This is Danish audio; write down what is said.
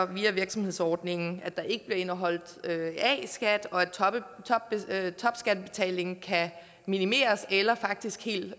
via virksomhedsordningen ikke bliver indeholdt a skat og at topskattebetalingen kan minimeres eller faktisk helt